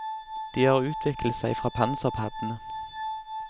De har utviklet seg fra panserpaddene.